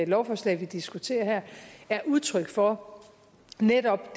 lovforslag vi diskuterer her er udtryk for netop at